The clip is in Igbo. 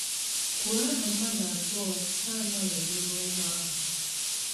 Kwuo aha mmadụ abụọ na - anọghị n’ime ụgbọ ahụ.